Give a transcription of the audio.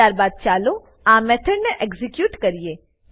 ત્યારબાદ ચાલો આ મેથડને એક્ઝીક્યુટ કરીએ